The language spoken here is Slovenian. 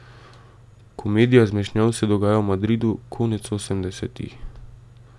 Komedija zmešnjav se dogaja v Madridu konec osemdesetih.